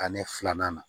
Ani filanan na